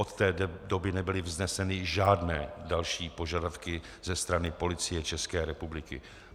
Od té doby nebyly vzneseny žádné další požadavky ze strany policie České republiky.